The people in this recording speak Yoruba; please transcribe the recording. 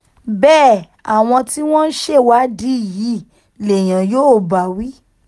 bẹ́ẹ̀ àwọn tí wọ́n ń ṣèwádìí yìí lèèyàn yóò bá wí